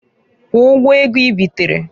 Kwụọ ụgwọ ego ibitereǃ